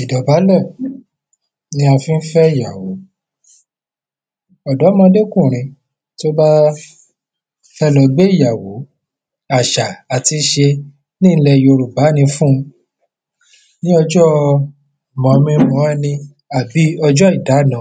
ìdọ̀bálẹ̀ ni a fi ń fẹ́ ìyàwó ọ̀dọ́mọdékùrin tó bá fẹ́ lọ gbé ìyàwó, àṣà àti ìṣe ní ilẹ̀ Yorùbá ni fún un ní ọjọ́ mọ̀-mi-mọ̀-ẹni, àbí ọjọ́ ìdáná,